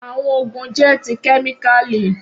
Awọn oogun jẹ ti kemikali.